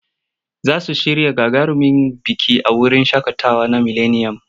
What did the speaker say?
Za su shirya gagarumin biki a wurin shaƙatawa na mileniyam.